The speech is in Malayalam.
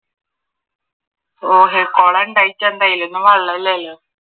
കുളമുണ്ടായിട്ടു എന്തിനാ അതിലൊന്നും വെള്ളം ഇല്ലാലോ